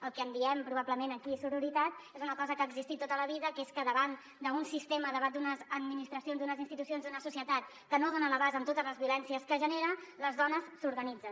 el que en diem probablement aquí sororitat és una cosa que ha existit tota la vida que és que davant d’un sistema davant d’unes administracions d’unes institucions d’una societat que no dona a l’abast amb totes les violències que genera les dones s’organitzen